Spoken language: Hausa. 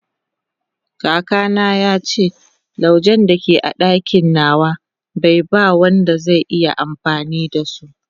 kaka na yace laujen da ke a dakin nawa be ba Wanda zai iya amfani da so